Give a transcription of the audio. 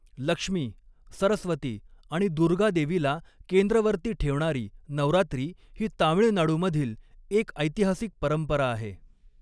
लक्ष्मी, सरस्वती आणि दुर्गादेवीला केंद्रवर्ती ठेवणारी नवरात्री ही तामीळनाडूमधील एक ऐतिहासिक परंपरा आहे.